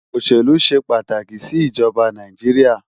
Oṣélú ṣé pátáki si Ijòbá Náijiriá